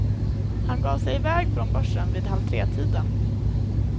Han gav sig i väg från börsen vid halvtretiden.